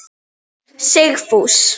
Sigfús